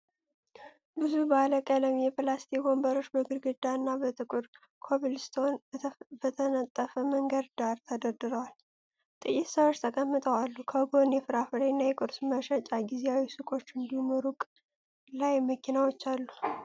ብዙ ባለ ቀለም የፕላስቲክ ወንበሮች በግርግዳና በጥቁር ኮብልስቶን በተነጠፈ መንገድ ዳር ተደርድረዋል። ጥቂት ሰዎች ተቀምጠው አሉ። ከጎን የፍራፍሬና የቁርስ መሸጫ ጊዜያዊ ሱቆች እንዲሁም ሩቅ ላይ መኪናዎች አሉ።